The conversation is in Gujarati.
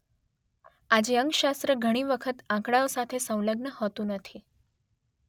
આજે અંકશાસ્ત્ર ઘણી વખત આંકડાઓ સાથે સંલગ્ન હોતું નથી